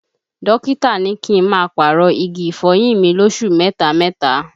Dókítà ní kí n má a pàrọ̀ igi ìfọyín mi lósù mẹta mẹta